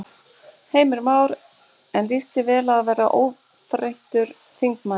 Heimir Már: En líst þér vel á að verða óbreyttur þingmaður?